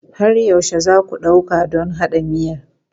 Har yaushe za ku ɗauka don haɗa miyan?